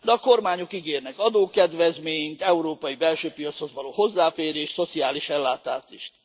De a kormányok ígérnek adókedvezményt, európai belső piachoz való hozzáférést, szociális ellátást is.